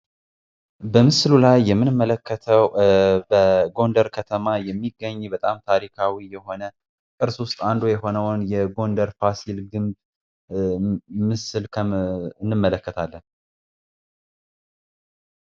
በምስሉ ላይ የምንመለከተው በጎንደር ከተማ የሚገኝ በጣም ታሪካዊ የሆነ ነርሱ ውስጥ አንዱ የሆነውን የጎንደር ፋሲል ግንብ ምስል እንመለከታለን።